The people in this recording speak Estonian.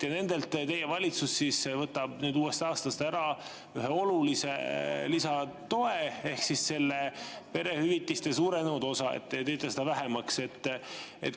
Nendelt teie valitsus võtab nüüd uuest aastast ära ühe olulise lisatoe ehk selle perehüvitiste suurenenud osa, te teete seda vähemaks.